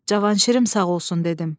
Cavanşirim sağ olsun dedim.